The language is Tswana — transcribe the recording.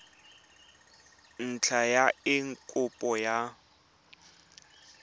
ntlha ya eng kopo ya